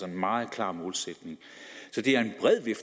en meget klar målsætning så det